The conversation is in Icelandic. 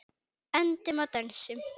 Öndum og dönsum.